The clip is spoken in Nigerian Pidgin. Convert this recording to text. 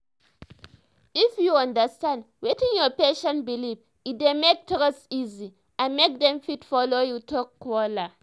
if u um understand wetin your patient belief e dey make trust easy and mk dem fit follow you talk wella